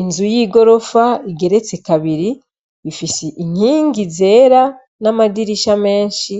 Inzu y'igorofa igeretse kabiri ifise inkingi zera n'amadirisha menshi